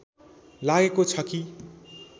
लागेको छ कि